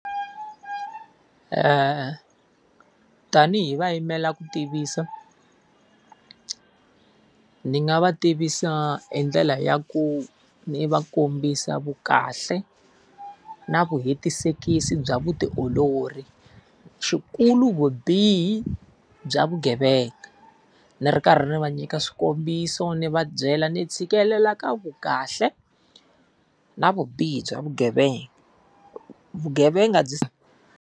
Tanihi va yimela ku tivisa, ndzi nga va tivisa hi ndlela ya ku ni va kombisa vu kahle, na vu hetisekisi bya vutiolori, xikulu vubihi bya vugevenga. Ndzi ri karhi va nyika swikombiso ndzi va byela ndzi tshikelela ka vukahle na vubihi bya vugevenga. Vugevenga byi.